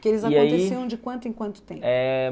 Que eles aconteciam de quanto em quanto tempo?